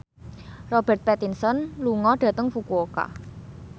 Robert Pattinson lunga dhateng Fukuoka